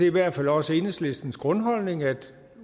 i hvert fald også enhedslistens grundholdning at